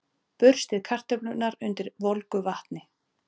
Burstið kartöflurnar undir volgu vatni.